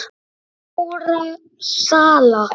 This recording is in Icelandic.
hárra sala.